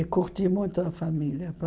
E curti muito a família. Para